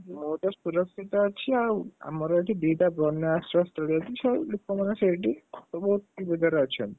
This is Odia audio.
ମୁଁ ତ ସୁରକ୍ଷିତ ଅଛି ଆଉ ଆମର ଏଠି ଦିଟା ବନ୍ୟା ଆଶ୍ରୟସ୍ଥଳୀ ଅଛି ସବୁ ଲୋକମାନେ ସେଇଠି ସବୁ ଗୋଟିଏ ସୁବିଧାରେ ଅଛନ୍ତି।